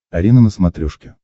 арена на смотрешке